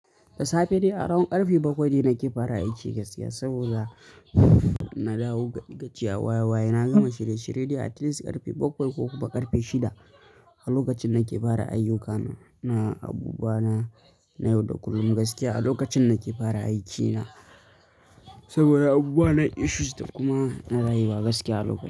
Da safe dai a round ƙarfe bakwai dai nake fara aiki gaskiya, saboda na dawo gajiya waya-waya. Na gama shirye-shirye dai atleast ƙarfe bakwai ko kuma ƙarfe shida a lokacin nake fara ayyukana na abubuwa na yau da kullum gaskiya a lokacin nake fara aikina. Saboda abubuwa na issues da kuma na rayuwa gaskiya a lokacin.